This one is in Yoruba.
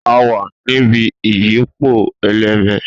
A wa ni ibi iyọpo eleme.